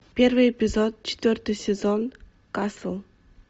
первый эпизод четвертый сезон касл